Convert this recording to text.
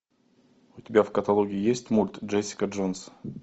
у тебя в каталоге есть мульт джессика джонс